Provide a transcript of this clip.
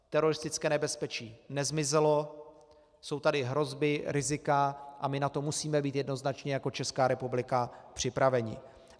Teroristické nebezpečí nezmizelo, jsou tady hrozby rizika a my na to musíme být jednoznačně jako Česká republika připraveni.